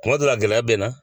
Kuma dɔ la gɛlɛya bɛ na